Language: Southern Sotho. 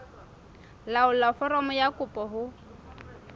laolla foromo ya kopo ho